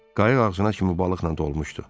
Qayıq ağzına kimi balıqla dolmuşdu.